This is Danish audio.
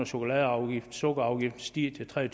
sukkerafgiften sukkerafgiften stiger til tre